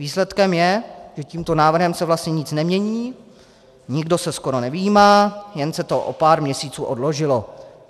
Výsledkem je, že tímto návrhem se vlastně nic nemění, nikdo se skoro nevyjímá, jen se to o pár měsíců odložilo.